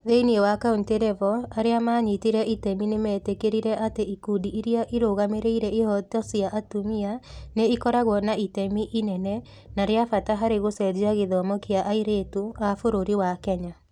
Thĩinĩ wa county level, arĩa maanyitire itemi nĩ meetĩkĩrire atĩ ikundi iria irũgamĩrĩire ihooto cia atumia nĩ ikoragwo na itemi inene na rĩa bata harĩ gũcenjia gĩthomo kĩa airĩtu a bũrũri wa Kenya.